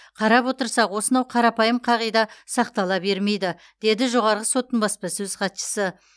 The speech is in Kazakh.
қарап отырсақ осынау қарапайым қағида сақтала бермейді деді жоғарғы соттың баспасөз хатшысы